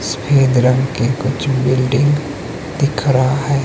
सफेद रंग के कुछ बिल्डिंग दिख रहा है।